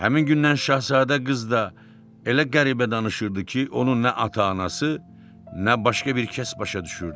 Həmin gündən Şahzadə qız da elə qəribə danışırdı ki, onun nə ata-anası, nə başqa bir kəs başa düşürdü.